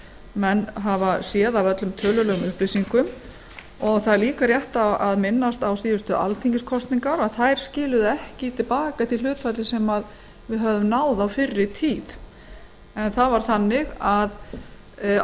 menn geta séð á öllum tölulegum upplýsingum það er líka rétt að minnast þess að síðustu alþingiskosningar skiluðu ekki til baka því hlutfalli sem við höfðum náð á fyrri tíð á kjörtímabilinu nítján